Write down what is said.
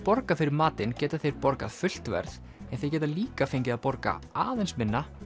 borga fyrir matinn geta þeir borgað fullt verð en þeir geta líka fengið að borga aðeins minna